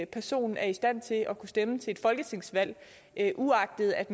person er i stand til at kunne stemme til et folketingsvalg uagtet at